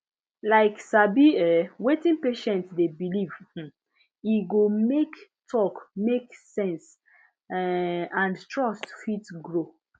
like sabi um wetin patient dey believe um e go make talk make sense um and trust fit grow